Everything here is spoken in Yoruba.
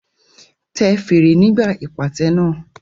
Tẹ fèrè nígbà ìpàtẹ náà.